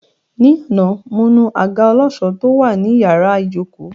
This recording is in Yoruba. Ní àná, mo nu àga ọlọ́ṣọ̀ọ́ tó wà ní iyàrá ìjókòó!